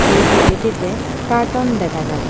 এই ছবিটিতে কার্টন দেখা যায়।